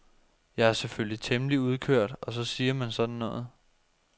Jeg er selvfølgelig temmelig udkørt og så siger man sådan noget.